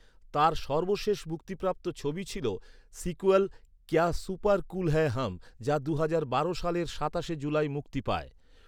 তাঁর সর্বশেষ মুক্তিপ্রাপ্ত ছবি ছিল সিক্যুয়াল ‘কেয়া সুপার কুল হ্যায় হাম’, যা দুহাজার বারো সালের সাতাশে জুলাই মুক্তি পায়।